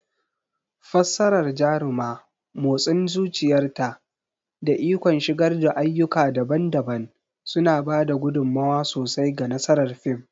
Fassarar Jaruma, motsin zuciyarta, da ikon shigar da ayyuka daban-daban suna ba da gudummawa sosai ga nasarar fim.